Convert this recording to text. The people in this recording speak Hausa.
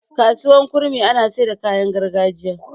kasuwar kurmi ana Saida kayan gargajiya